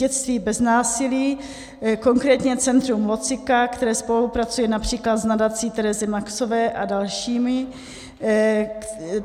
Dětství bez násilí, konkrétně centrum Locika, které spolupracuje například s nadací Terezy Maxové a dalšími.